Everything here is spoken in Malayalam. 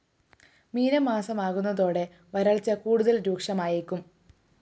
മീനമാസമാകുന്നതോടെ വരള്‍ച്ച കൂടുതല്‍ രൂക്ഷമായേക്കും